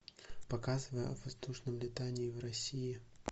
показывай о воздушном летании в россии